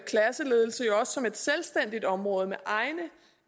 klasseledelse jo også som et selvstændigt område med egne